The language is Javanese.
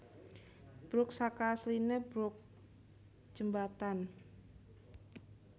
Bruk saka asline brooke jembatan